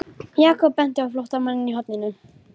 Jakob benti á flóttamanninn í horninu.